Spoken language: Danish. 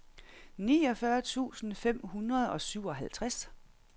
niogfyrre tusind fem hundrede og syvoghalvtreds